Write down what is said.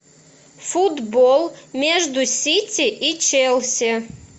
футбол между сити и челси